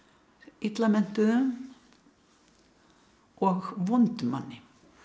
illa menntuðum og vondum manni